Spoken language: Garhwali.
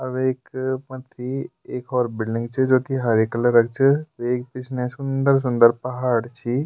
और वेक मथ्थी एक और बिलडिंग च जू की हरे कलर क च वेक पिछने सुन्दर-सुन्दर पहाड़ छि।